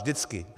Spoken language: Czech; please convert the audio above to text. Vždycky.